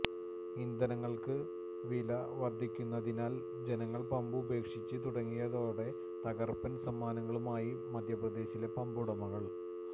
ഇന്ധനങ്ങള്ക്ക് വില വര്ധിക്കുന്നതിനാല് ജനങ്ങള് പമ്പ് ഉപേക്ഷിച്ച് തുടങ്ങിയത്തോടെ തകര്പ്പന് സമ്മാനങ്ങളുമായി മധ്യപ്രദേശിലെ പമ്പ് ഉടമകള്